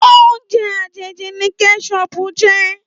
Óoùnjè àjéjí ni kèṣòp jè